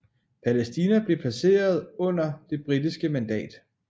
Palæstina blev placeret under det britiske mandat